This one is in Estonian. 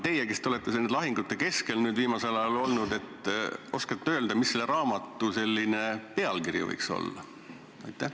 Te olete nüüd viimasel ajal lahingute keskel olnud, kas te oskate öelda, mis selle raamatu pealkiri võiks olla?